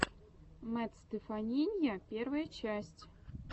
мэтт стеффанинья первая часть